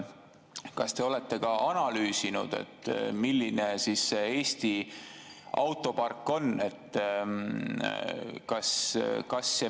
Kas te olete ka analüüsinud, milline on Eesti autopark?